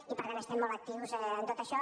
i per tant estem molt actius en tot això